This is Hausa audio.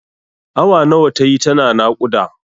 Awa nawa tayi tana naƙuda?